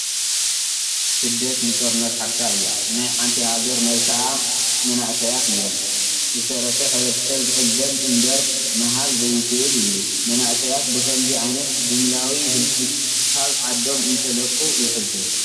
ስደት ንጦርነት ሓፍታ እያ፡፡ ናይ ሓንቲ ሃገር መላኽዓ መናእሰያት እዮም፡፡ ዝተረፈ ሕ/ሰብ ዝቕበል እምበር ምሃብ ዘይኽእል እዩ፡፡ መናእሰያት ብኸምዚ ዓይነት ድምላዊ ሂልቂት ካብ ዓዶም እንትለቁ የሕዝን፡፡